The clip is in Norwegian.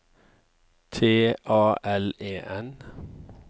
T A L E N